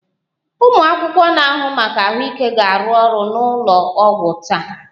Ụmụ akwụkwọ na-ahụ maka ahụike ga-arụ ọrụ n'ụlọ ọgwụ taa